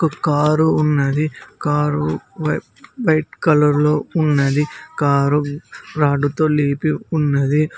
ఒక కారు ఉన్నది కారు వై వైట్ కలర్లో ఉన్నది కారు రాడ్డుతో లేపి ఉన్నది.